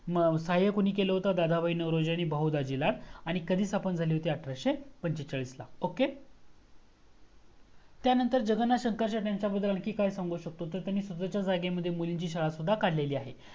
मग सहाय कोणी केल होत दादाबाई नवरोजी आणि बहुदाजिला आणि कधी स्थापन झाली होती अठराशे पंचेचाळीस ला okay. त्या नंतर जगन्नाथ शंकर त्यंच्याबद्दल आणखीन काय सांगू सकतो तर त्यांनी स्वतच्या जागेवर मुलींची शाळा सुद्धा काढलेली आहे.